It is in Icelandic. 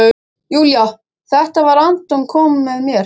Júlía: Þetta var- Anton kom með mér.